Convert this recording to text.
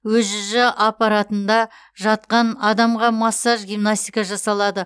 өжж аппаратында жатқан адамға массаж гимнастика жасалады